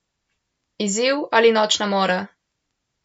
Izziv ali nočna mora?